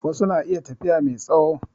Wasu na iya tafiya mai tsawo